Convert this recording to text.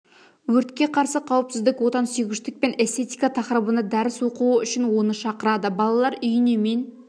өртке қарсы қауіпсіздік отансүйгіштік пен эстетика тақырыбында дәріс оқуы үшін оны шақырады балалар үйіне мен